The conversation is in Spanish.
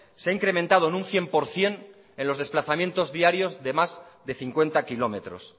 se ha incrementado en un cien por ciento en los desplazamientos diarios de más de cincuenta kilómetros